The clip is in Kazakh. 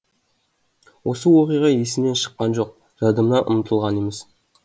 осы оқиға есімнен шыққан жоқ жадымнан ұмытылған емес